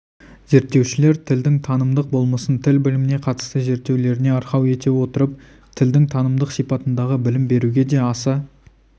зерттеушілер тілдің танымдық болмысын тіл біліміне қатысты зерттеулеріне арқау ете отырып тілдің танымдық сипатындағы білім беруге де аса